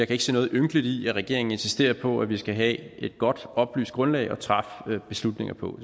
kan se noget ynkeligt i at regeringen insisterer på at vi skal have et godt oplyst grundlag at træffe beslutninger på